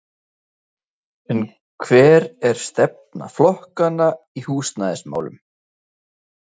En hver er stefna flokkanna í húsnæðismálum?